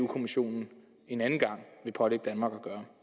kommissionen en anden gang vil pålægge danmark